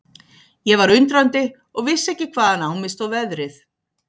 Ég var undrandi og vissi ekki hvaðan á mig stóð veðrið.